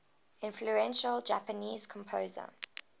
influential japanese composer